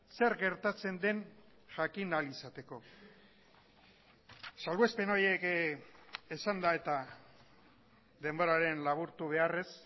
zer gertatzen den jakin ahal izateko salbuespen horiek esanda eta denboraren laburtu beharrez